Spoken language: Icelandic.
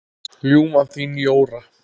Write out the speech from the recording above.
Ljúfan þín, Jóra.